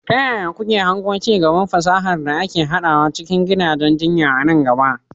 Ta yaya kuke hango ci gaban fasahar da ake haɗawa cikin gidajen jinya a nan gaba?